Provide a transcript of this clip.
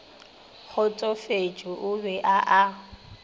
kgotsofetše o be a a